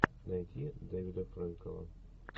найти дэвида фрэнкела